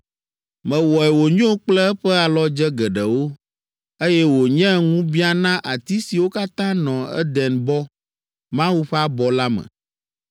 Mewɔe wònyo kple eƒe alɔdze geɖewo, eye wònye ŋubiã na ati siwo katã nɔ Edenbɔ, Mawu ƒe abɔ la me.